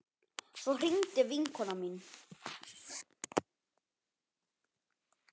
Svo hringdi vinkona mín.